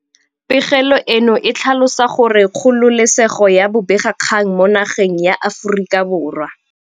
Pegelo eno e tlhalosa gore kgololesego ya bobegakgang mo nageng ya Aforika Borwa